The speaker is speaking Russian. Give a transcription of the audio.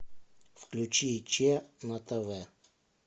включи че на тв